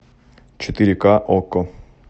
четыре ка окко